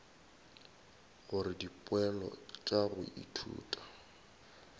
gore dipoelo tša go ithuta